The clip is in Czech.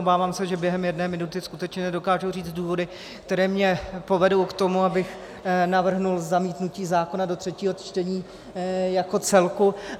Obávám se, že během jedné minuty skutečně nedokážu říct důvody, které mě povedou k tomu, abych navrhl zamítnutí zákona do třetího čtení jako celku.